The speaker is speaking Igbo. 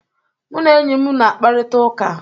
Mụ na enyi m na-akparịta ụka.